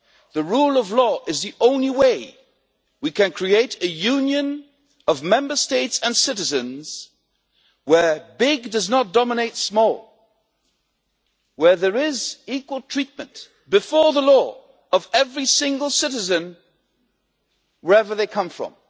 The rule of law is the only way we can create a union of Member States and citizens where big does not dominate small, where there is equal treatment before the law of every single citizen wherever they come from.